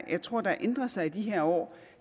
jeg tror der ændrer sig i de her år